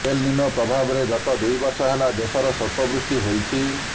L Nino ପ୍ରଭାବରେ ଗତ ଦୁଇ ବର୍ଷ ହେଲା ଦେଶରେ ସ୍ୱଳ୍ପ ବୃଷ୍ଟି ହୋଇଛି